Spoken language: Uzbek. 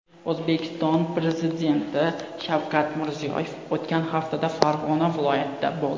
O‘zbekiston prezidenti Shavkat Mirziyoyev o‘tgan haftada Farg‘ona viloyatida bo‘ldi.